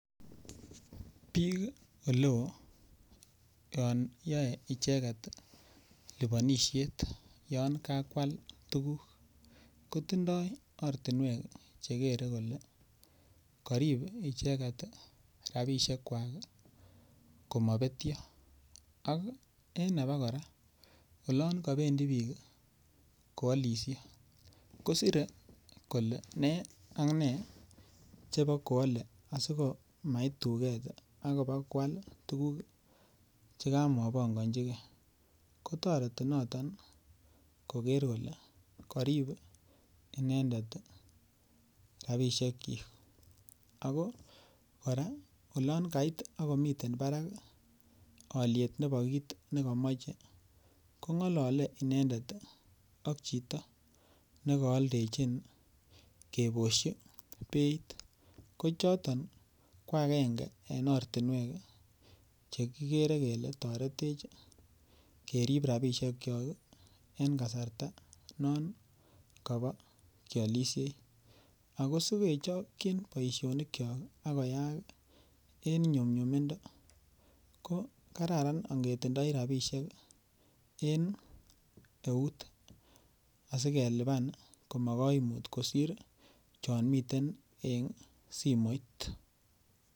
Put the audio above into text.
Biik oleo yon yoe icheket liponisiet yon kakwal tuguk, kotindoi ortinwek chekere kole korib icheket rabisiekwak komopetio. Ak en obokora olon kopendi biik koolisie kosire kole nee ka nee chebokwole asikomait tuket ak ibakwal tuguk chekamopongojigei. Kotoreti noton koker kole korib inendet rabisiekyik ago kora olon kait ak komiten barak oliet nebo kit nekomoche, kong'olole inendet ak chito nekooldechin kebosyi beit. Kochoton ko agenge en ortinwek chekikere kele toretech kerib rabisiekyok en kasarta non kobo kiolisiei. Ago sikechokyin boisionikyok ak koyaak en nyumnyumindo ko karan ingetindoi rabisiek en eut asikelipan komokoimut kosir chomiten en simoit.